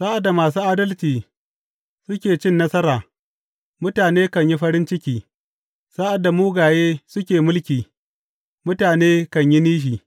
Sa’ad da masu adalci suke cin nasara, mutane kan yi farin ciki sa’ad da mugaye suke mulki, mutane kan yi nishi.